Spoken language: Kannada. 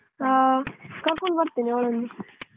ಹ ಕರ್ಕೊಂಡು ಬರ್ತೆನ್‌ ಅವಳನ್ನು